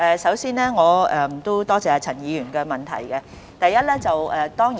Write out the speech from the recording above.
首先，我多謝陳議員的補充質詢。